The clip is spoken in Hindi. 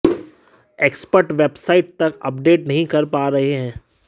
एक्सपर्ट वेबसाइट तक अपडेट नहीं कर पा रहे हैं